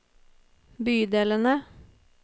bydelene